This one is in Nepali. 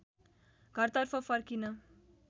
घरतर्फ फर्किन